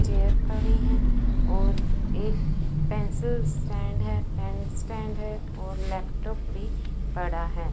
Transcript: Chair पड़ी हैं और एक पेंसिल स्टैंड है पेन स्टैंड है और लैपटॉप भी पड़ा है।